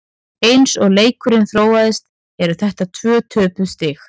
Eins og leikurinn þróaðist eru þetta tvö töpuð stig.